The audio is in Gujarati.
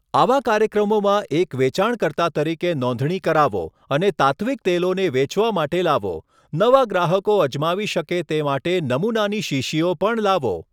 આવા કાર્યક્રમોમાં એક વેચાણકર્તા તરીકે નોંધણી કરાવો અને તાત્ત્વિક તેલોને વેચવા માટે લાવો, નવા ગ્રાહકો અજમાવી શકે તે માટે નમૂનાની શીશીઓ પણ લાવો.